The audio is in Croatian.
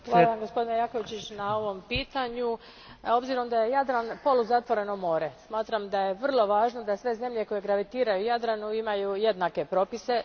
Hvala Vam gospodine Jakovčiću na ovom pitanju. S obzirom na to da je Jadran poluzatvoreno more, smatram da je vrlo važno da sve zemlje koje gravitiraju Jadranu imaju jednake propise.